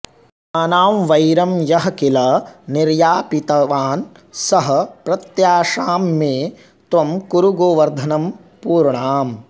स्वानां वैरं यः किल निर्यापितवान् सः प्रत्याशां मे त्वं कुरु गोवर्धन पूर्णाम्